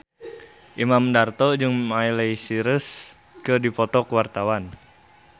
Imam Darto jeung Miley Cyrus keur dipoto ku wartawan